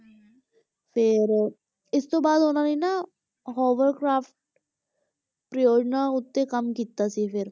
ਫਿਰ ਇਸ ਦੇ ਬਾਅਦ ਉਹਨਾਂ ਨੇ ਹਾਵਰਕਰਾਫਟ ਪਰਯੋਜਨਾ ਉੱਤੇ ਕੰਮ ਕੀਤਾ ਸੀ ਫਿਰ।